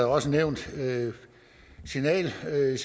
også nævnt signalsystemet